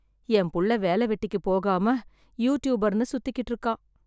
என் புள்ள, வேல வெட்டிக்கு போகாம, யூடியூபர்ன்னு சுத்திகிட்டு இருக்கான்.